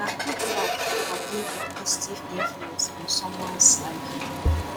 na good love for being a positive influence on someones life